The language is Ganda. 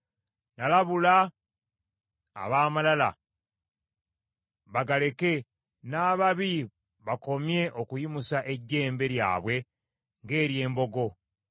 Nalabula ab’amalala bagaleke, n’ababi bakomye okuyimusa ejjembe lyabwe ng’ery’embogo.